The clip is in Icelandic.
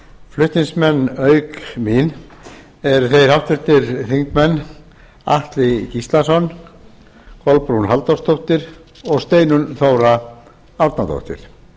flutningsmenn auk mín eru þeir háttvirtir þingmenn atli gíslason kolbrún halldórsdóttir og steinunn þóra árnadóttir